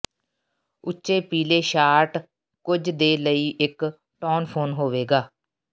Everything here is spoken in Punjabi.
ਉੱਚੇ ਪੀਲੇ ਸ਼ਾਰਟ ਕੁਝ ਦੇ ਲਈ ਇੱਕ ਟੌਨਫੋਨ ਹੋਵੇਗਾ